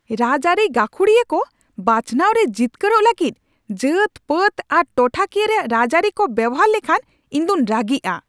ᱨᱟᱡᱽᱟᱹᱨᱤ ᱜᱟᱹᱷᱩᱲᱤᱭᱟᱹ ᱠᱚ ᱵᱟᱪᱷᱱᱟᱣ ᱨᱮ ᱡᱤᱛᱠᱟᱹᱨᱚᱜ ᱞᱟᱹᱜᱤᱫ ᱡᱟᱹᱛᱼᱯᱟᱹᱛ ᱟᱨ ᱴᱚᱴᱷᱟ ᱠᱤᱭᱟᱹ ᱨᱮᱭᱟᱜ ᱨᱟᱡᱽᱟᱹᱨᱤ ᱠᱚ ᱵᱮᱣᱦᱟᱨ ᱞᱮᱠᱷᱟᱱ, ᱤᱧᱫᱩᱧ ᱨᱟᱹᱜᱤᱜᱼᱟ ᱾